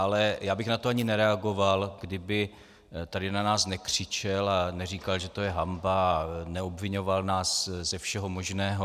Ale já bych na to ani nereagoval, kdyby tady na nás nekřičel a neříkal, že to je hanba, a neobviňoval nás ze všeho možného.